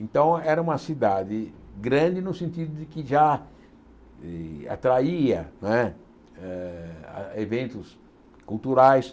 Então, era uma cidade grande no sentido de que já e atraía né eh eventos culturais.